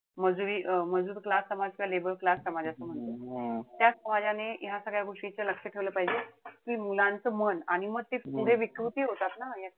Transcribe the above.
मजुरी अं मजूर class समाज किंवा labor class समाज जस म्हणतो त्या समाजाने ह्या सगळ्या गोष्टीच लक्ष ठेवलं पाहिजे. कि मुलांचं मन आणि म ते पुढे विकृती होतात ना ह्या सगळ्या,